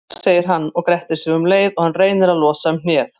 Rússar, segir hann og grettir sig um leið og hann reynir að losa um hnéð.